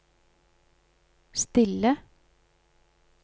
stille